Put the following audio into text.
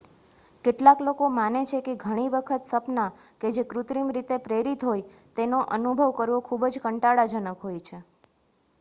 કેટલાક લોકો માને છે કે ઘણી વખત સપના કે જે કૃત્રિમ રીતે પ્રેરિત હોય તેનો અનુભવ કરવો ખુબ જ કંટાળાજનક હોય છે